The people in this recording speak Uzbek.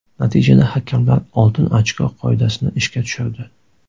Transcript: Natijada hakamlar oltin ochko qoidasini ishga tushirdi.